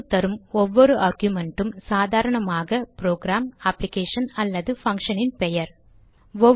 man க்கு தரும் ஒவ்வொரு ஆர்குமென்ட்டும் சாதரணமாக ப்ரோகிராம் அப்ளிகேஷன் அல்லது பங்க்ஷனின் பெயர்